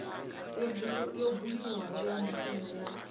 yo buliwaho ya muvhuso ya